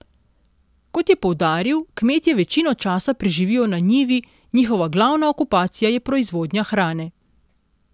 Kot je poudaril, kmetje večino časa preživijo na njivi, njihova glavna okupacija je proizvodnja hrane.